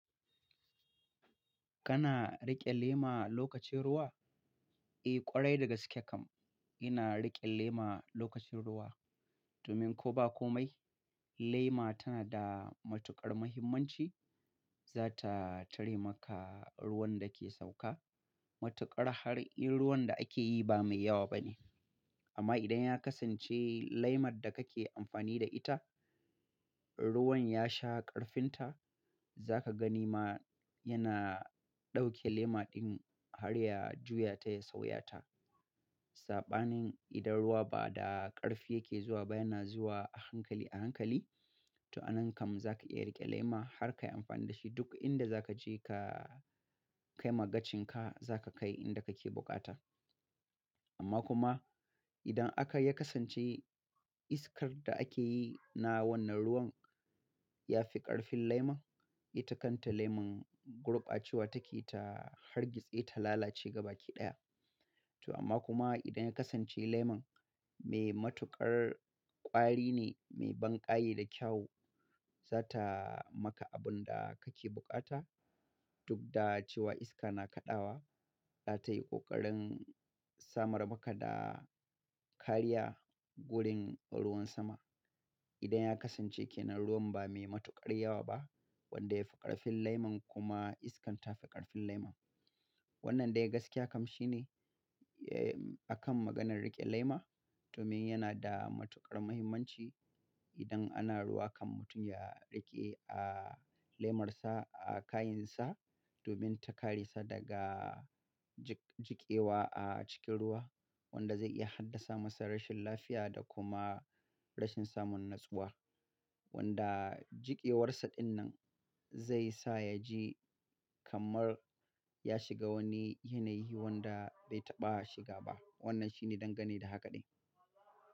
Kana riƙe lema lokacin ruwa? Eh, ƙwarai daga gaskiya kam ina riƙe lema lokacin ruwa. Domin ko ba komai, lema tana da matuƙar muhimmanci, za ta tare maka ruwan da ke sauka. Matuƙar har in ruwan da ake yi ba mai yawa ba ne. Amma idan ya kasance lemar da kake amfani da ita, ruwan ya sha ƙarfinta, za ka gani ma yana ɗauke lema ɗin har ya juya ta ya sauya ta. Saɓanin idan ruwa ba da ƙarfi yake zuwa ba, yana zuwa a hankali a hankali. To a nan kam za ka iya riƙe lema har ka yi amfani da shi duk inda za ka je ka kai magacinka za ka kai inda kake bukata. Amma kuma idan aka ya kasance iskar da ake yi na wannan ruwan ya fi ƙarfin lemon, ita kanta lemon gulɓa cewa take ta hargitse ta lalace gaba ki ɗaya. To amma kuma idan ya kasance lemon mai matuƙar ƙwari ne, mai banƙaye da kyau, za ta maka abun da kake bukata duk da cewa iska na kaɗawa, za tayi ƙoƙarin samar maka da kariya gurin ruwan sama. Idan ya kasance ke nan ruwan ba mai matuƙar yawa ba wanda ya fi ƙarfin lemon kuma iskar ta fi ƙarfin lemon. Wannan dai gaskiya kam shi ne, akan maganar riƙe lema. Domin yana da matuƙar muhimmanci idan ana ruwa kam mutum ya riƙe, lemarsa a kayinsa domin ta kare sa daga jik-jikewa a cikin ruwa wanda zai iya haddasa masa rashin lafiya da kuma rashin samun natsuwa. Wanda jikewarsa ɗin nan zai sa ya ji kamar ya shiga wani yanayi wanda bai taɓa shiga ba. Wannan shi ne dangane da haka ɗin.